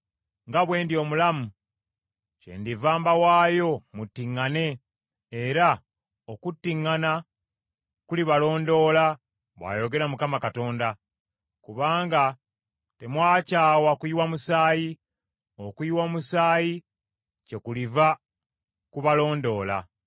nga bwe ndi omulamu, kyendiva mbawaayo muttiŋŋane era okuttiŋŋana kulibalondoola, bw’ayogera Mukama Katonda. Kubanga temwakyawa kuyiwa musaayi, okuyiwa omusaayi kyekuliva kubalondoola.